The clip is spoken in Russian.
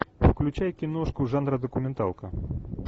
включай киношку жанра документалка